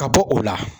Ka bɔ o la